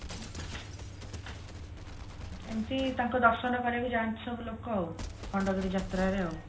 ଏମିତି ତାଙ୍କ ଦର୍ଶନ କରିବାକୁ ଯାଆନ୍ତି ସବୁ ଲୋକ ଆଉ ଖଣ୍ଡଗିରି ଯାତ୍ରାରେ ଆଉ